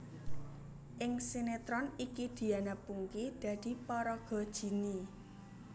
Ing sinetron iki Diana Pungky dadi paraga Jinny